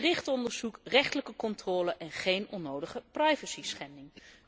Gericht onderzoek, rechterlijke controle en geen onnodige privacy schending.